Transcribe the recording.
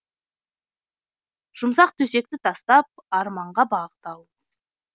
жұмсақ төсекті тастап арманға бағыт алыңыз